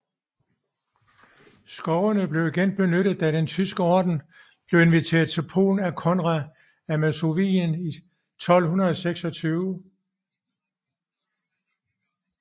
Skovene blev igen benyttet da den Tyske Orden blev inviteret til Polen af Konrad af Masovien i 1226